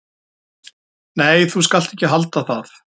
"""Nei, þú skalt ekki halda það!"""